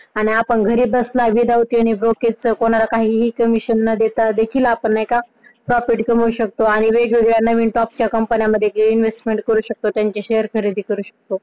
आपण घरी बसल्या without any brokerage च कोणाला काहीही Commision न देता देखील आपण profit कमावू शकतो आणि वेगवेगळ्या नवीन Top Company मध्ये placement करू शकतो त्यांचे Share खरेदी करू शकतो.